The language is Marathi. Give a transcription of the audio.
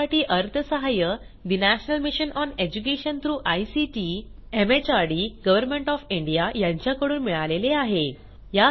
यासाठी अर्थसहाय्य national mission on education through ICT MHRD government of India यांच्याकडून मिळालेले आहे